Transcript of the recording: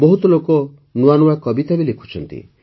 ବହୁତ ଲୋକ ନୂଆ ନୂଆ କବିତା ବି ଲେଖୁଛନ୍ତି